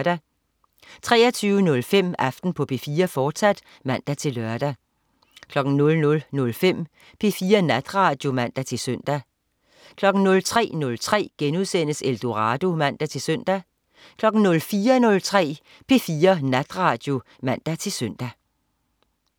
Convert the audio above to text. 23.05 Aften på P4, fortsat (man-lør) 00.05 P4 Natradio (man-søn) 03.03 Eldorado* (man-søn) 04.03 P4 Natradio (man-søn)